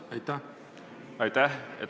Aitäh!